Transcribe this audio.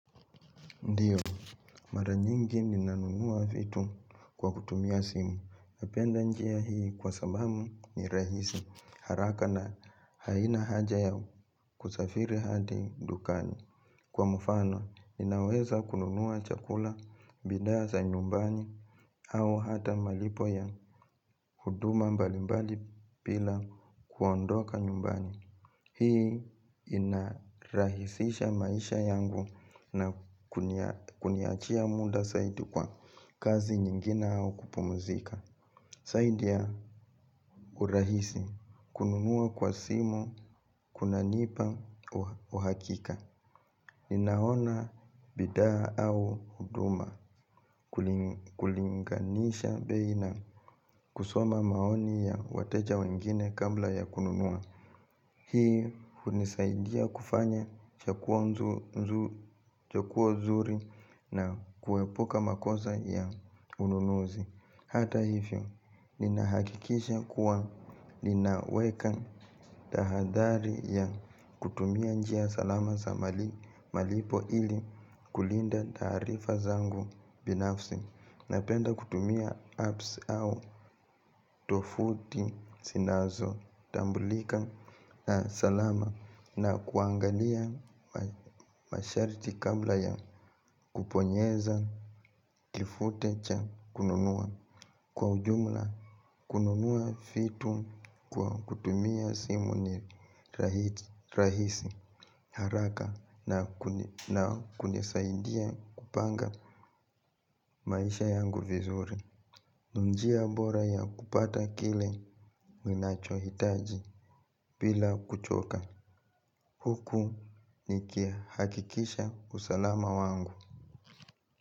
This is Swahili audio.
Ndio, mara nyingi ninanunua vitu kwa kutumia simu. Napenda njia hii kwa sababu ni rahisi haraka na haina haja ya kusafiri hadi dukani. Kwa mfano, ninaweza kununua chakula bidhaa za nyumbani au hata malipo ya huduma mbali mbali pila kuondoka nyumbani. Hii inarahisisha maisha yangu na kuniachia muda zaidi kwa kazi nyingine au kupumzika zaidi ya urahisi kununua kwa simu kuna nipa uhakika. Ninaona bidhaa au huduma kulinganisha bei na kusoma maoni ya wateja wengine kabla ya kununua. Hii hunisaidia kufanya ya chaguo nzuri na kuepuka makosa ya ununuzi. Hata hivyo, ninahakikisha kuwa ninaweka tahadhari ya kutumia njia salama za malipo ili kulinda taarifa zangu binafsi. Napenda kutumia apps au tovuti zinazo tambulika na salama na kuangalia masharti kabla ya kubonyeza kifute cha kununua kwa ujumla kununua vitu kwa kutumia simu ni rahisi haraka na kunisaidia kupanga maisha yangu vizuri. Ni njia bora ya kupata kile ninacho hitaji bila kuchoka. Huku nikihakikisha usalama wangu.